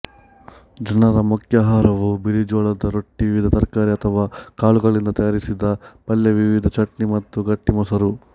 ಜನರ ಮುಖ್ಯ ಆಹಾರವು ಬಿಳಿಜೊಳದ ರೊಟ್ಟಿ ವಿವಿಧ ತರಕಾರಿ ಅಥವಾ ಕಾಳುಗಳಿಂದ ತಯಾರಿಸಿದ ಪಲ್ಯಾವಿವಿಧ ಚಟ್ನಿ ಮತ್ತು ಗಟ್ಟಿ ಮೊಸರು